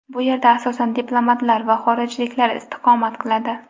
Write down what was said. Bu yerda asosan diplomatlar va xorijliklar istiqomat qiladi.